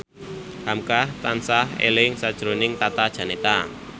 hamka tansah eling sakjroning Tata Janeta